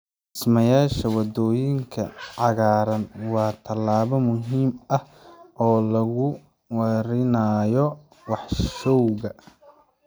Dhismeyaasha waddooyinka cagaaran waa tallaabo muhiim ah oo lagu yareynayo wasakhowga.